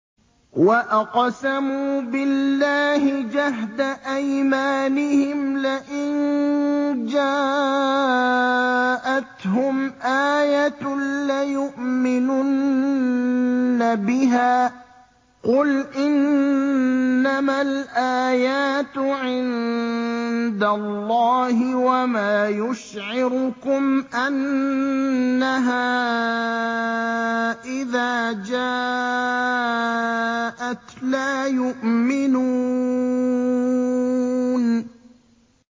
وَأَقْسَمُوا بِاللَّهِ جَهْدَ أَيْمَانِهِمْ لَئِن جَاءَتْهُمْ آيَةٌ لَّيُؤْمِنُنَّ بِهَا ۚ قُلْ إِنَّمَا الْآيَاتُ عِندَ اللَّهِ ۖ وَمَا يُشْعِرُكُمْ أَنَّهَا إِذَا جَاءَتْ لَا يُؤْمِنُونَ